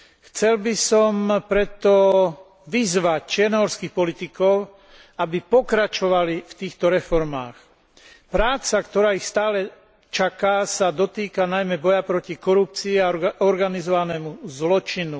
Chcel by som preto vyzvať čiernohorských politikov, aby pokračovali v týchto reformách. Práca, ktorá ich stále čaká, sa dotýka najmä boja proti korupcii a organizovanému zločinu.